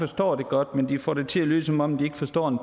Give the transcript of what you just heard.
forstår det godt men de får det til at lyde som om de ikke forstår en